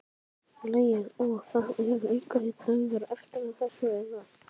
Logi: Og það eru einhverjir dagar eftir að þessu eða?